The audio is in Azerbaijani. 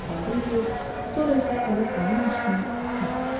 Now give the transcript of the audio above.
istifadə eləyir, sonra isə ələ salırmış kimi atırdı.